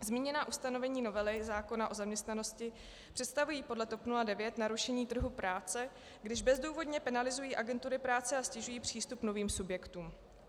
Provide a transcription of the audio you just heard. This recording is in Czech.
Zmíněná ustanovení novely zákona o zaměstnanosti představují podle TOP 09 narušení trhu práce, když bezdůvodně penalizují agentury práce a ztěžují přístup novým subjektům.